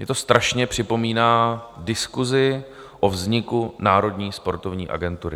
Mně to strašně připomíná diskusi o vzniku Národní sportovní agentury.